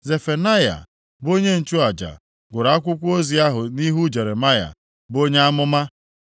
Zefanaya bụ onye nchụaja, gụrụ akwụkwọ ozi ahụ nʼihu Jeremaya, bụ onye amụma.